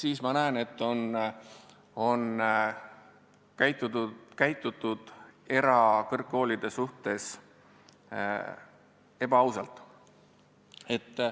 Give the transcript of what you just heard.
See näitab, et meie erakõrgkoole on koheldud ebaausalt.